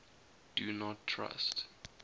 do not trust